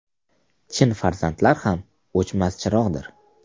Chin farzandlar ham O‘chmas chirog‘dir.